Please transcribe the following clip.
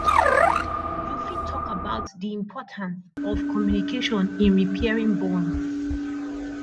you fit talk about di importance of communication in repairing bonds